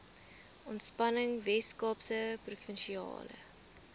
ontspanning weskaapse provinsiale